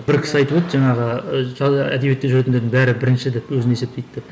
бір кісі айтып еді жаңағы әдебиетте жүретіндердің бәрі бірінші деп өзін есептейді деп